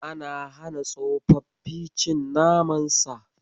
Ana hana tsofaffi cin naman Sa.